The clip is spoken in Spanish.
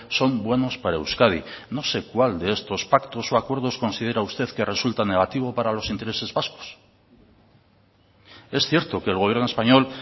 son buenos para euskadi no sé cuál de estos pactos o acuerdos considera usted que resulta negativo para los intereses vascos es cierto que el gobierno español